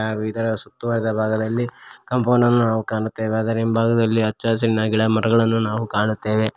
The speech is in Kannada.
ಹಾಗು ಇದರ ಸುತ್ತುವರಿದ ಭಾಗದಲ್ಲಿ ಕಾಂಪೌಂಡ ನ್ನು ನಾವು ಕಾಣುತ್ತೆವೆ ಅದರ ಹಿಂಭಾಗದಲ್ಲಿ ಹಚ್ಚ ಹಸಿರಿನ ಗಿಡ ಮರಗಳನ್ನು ನಾವು ಕಾಣುತ್ತೆವೆ.